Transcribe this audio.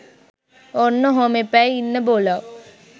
ඔන්න ඔහොම එපැයි ඉන්න බොලව්